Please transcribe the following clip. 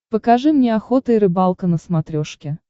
покажи мне охота и рыбалка на смотрешке